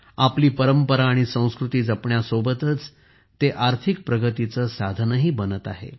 आपली परंपरा आणि संस्कृती जपण्यासोबतच ते आर्थिक प्रगतीचे साधनही बनत आहे